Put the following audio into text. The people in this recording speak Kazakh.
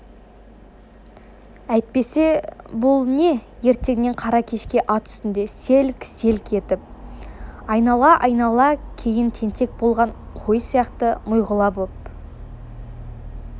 әйтпесе бұл не ертеңнен қара кешке ат үстінде селк-селк етіп айнала-айнала кейін тентек болған қой сияқты миғұла боп